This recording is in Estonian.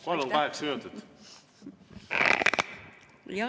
Jah, palun, kaheksa minutit!